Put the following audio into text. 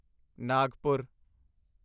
Nagpur